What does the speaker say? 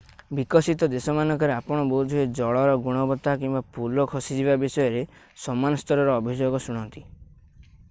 ବିକଶିତ ଦେଶମାନଙ୍କରେ ଆପଣ ବୋଧହୁଏ ଜଳର ଗୁଣବତ୍ତା କିମ୍ବା ପୋଲ ଖସିଯିବା ବିଷୟରେ ସମାନ ସ୍ତରର ଅଭିଯୋଗ ଶୁଣନ୍ତି